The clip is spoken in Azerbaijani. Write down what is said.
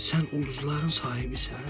Sən ulduzların sahibisən?